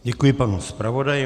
Děkuji panu zpravodaji.